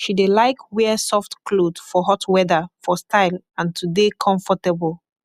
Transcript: she dey laik wear soft kloth for hot weather for style and to dey komfortabol